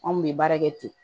Anw kun bɛ baara kɛ ten